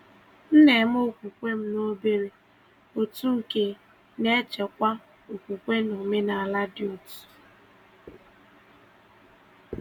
M na-eme okwukwe m na obere òtù nke na-echekwa okwukwe na omenala dị otu.